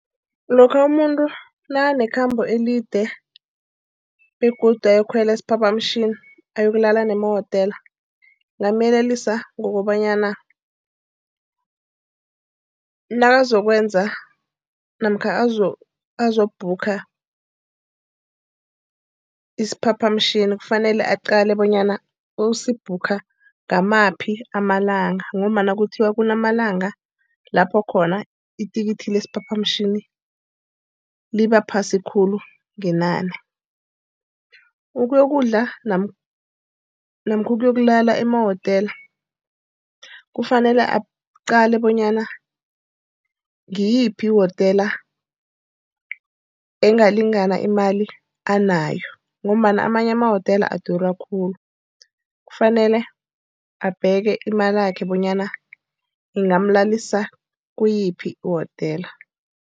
Lokha umuntu nakanekhambo elide begodu ayokukhwela isiphaphamtjhini, ayokulala nemawotela ngingamyelelisa ngokobanyana nakazokwenza namkha azokubhukha isiphaphamtjhini kufanele aqale bonyana usibhukha ngamaphi amalanga, ngombana kuthiwa kunamalanga lapho khona ithikithi lesiphaphamtjhini liba phasi khulu ngenani. Ukuyokudla namkha ukuyokulala emahotela, kufanele aqale bonyana ngiyiphi iwotela engalingani imali anayo, ngombana amanye emawotela adura khulu kufanele abheke imalakhe bonyana ingamlalisa kuyiphi iwotela.